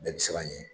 Bɛɛ bi siran an ye